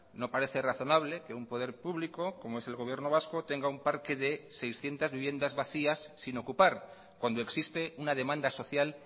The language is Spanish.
no parece razonable que un poder público como es el gobierno vasco tenga un parque de seiscientos viviendas vacías sin ocupar cuando existe una demanda social